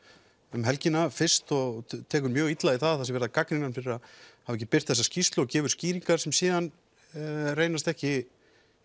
um helgina fyrst og tekur mjög illa í það sé verið að gagnrýna hann fyrir að hafa ekki birt þessa skýrslu og gefur skýringar sem síðan reynast ekki